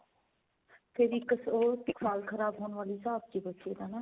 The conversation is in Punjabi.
ਫੇਰ ਇੱਕ ਉਹ ਸਾਲ ਖਰਾਬ ਹੋਣ ਵਾਲਾ ਹਿਸਾਬ ਸੀਗਾ ਵੈਸੇ ਤਾਂ ਨਾ.